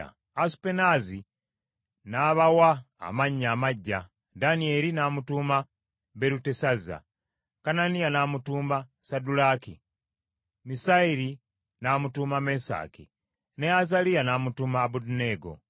Asupenaazi n’abawa amannya amaggya: Danyeri n’amutuuma Berutesazza, Kananiya n’amutuuma Saddulaaki, Misayeri n’amutuuma Mesaki, ne Azaliya n’amutuuma Abeduneego.